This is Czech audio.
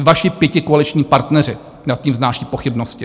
I vaši pětikoaliční partneři nad tím vznášejí pochybnosti.